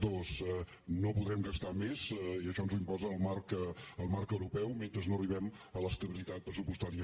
dos no podrem gastar més i això ens ho imposa el marc europeu mentre no arribem a l’estabilitat pressupostària